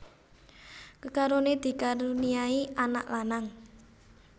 Kekaroné dikaruniai anak lanang